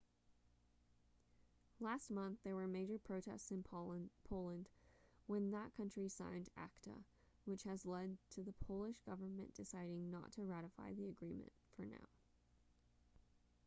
last month there were major protests in poland when that country signed acta which has led to the polish government deciding not to ratify the agreement for now